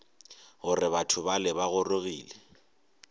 gore batho bale ba gorogile